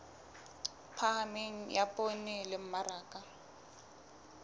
phahameng ya poone le mmaraka